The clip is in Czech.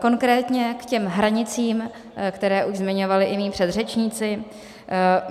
Konkrétně k těm hranicím, které už zmiňovali i mí předřečníci.